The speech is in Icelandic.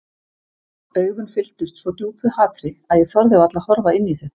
Augun fylltust svo djúpu hatri að ég þorði varla að horfa inn í þau.